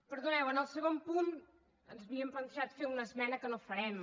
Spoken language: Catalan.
perdoneu en el segon punt ens havíem plantejat fer una esmena que no farem